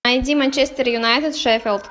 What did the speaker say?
найди манчестер юнайтед шеффилд